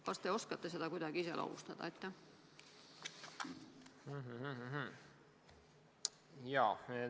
Kas te oskate seda kuidagi iseloomustada?